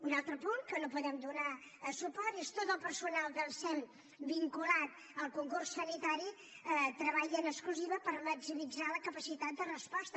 un altre punt a què no podem donar suport és tot el personal del sem vinculat al concurs sanitari treballa en exclusiva per maximitzar la capacitat de resposta